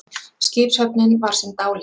Skipshöfnin var sem dáleidd.